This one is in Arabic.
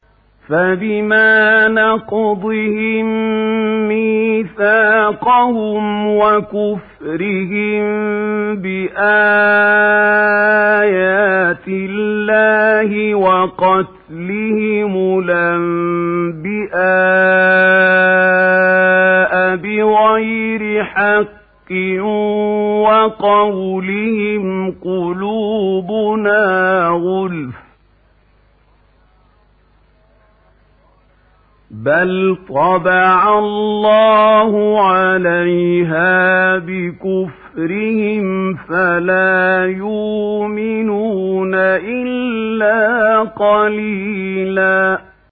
فَبِمَا نَقْضِهِم مِّيثَاقَهُمْ وَكُفْرِهِم بِآيَاتِ اللَّهِ وَقَتْلِهِمُ الْأَنبِيَاءَ بِغَيْرِ حَقٍّ وَقَوْلِهِمْ قُلُوبُنَا غُلْفٌ ۚ بَلْ طَبَعَ اللَّهُ عَلَيْهَا بِكُفْرِهِمْ فَلَا يُؤْمِنُونَ إِلَّا قَلِيلًا